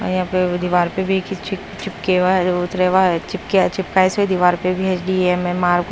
और यहां पे वो दीवार पे भी खिस चिप चिपकेवा जो उतरेवा चिपकीया चिपकाए से दीवार पे भी एस_डी_एम_एम_आर --